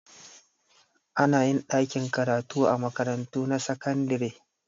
Anayin ɗakin karatu a makarantun sakandare